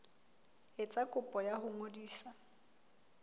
etsa kopo ya ho ngodisa